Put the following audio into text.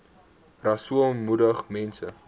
rasool moedig mense